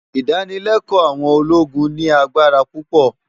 Idànilèkò áwòn ólógún ni ágbárá púpò